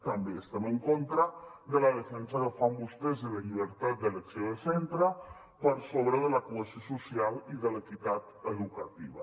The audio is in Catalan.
també estem en contra de la defensa que fan vostès de la llibertat d’elecció de centre per sobre de la cohesió social i de l’equitat educativa